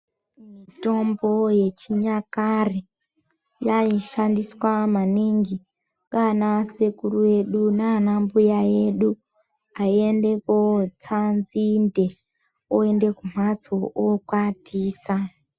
Mutombo yechinyakare yaishandiswa maningi ngaanasekuru edu nana mbuya edu aiende kotsa nzinde oende kumphatso okwatisa.